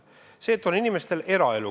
Inimestel on eraelu.